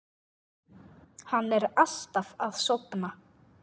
Hann er alltaf að sofna.